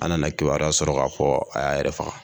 An nana kibariya sɔrɔ ka fɔ a y'a yɛrɛ faga.